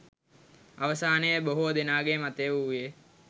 අවසානයේ බොහෝ දෙනාගේ මතය වූයේ